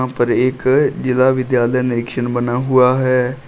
ऊपर एक जिला विद्यालय निरीक्षक बना हुआ है।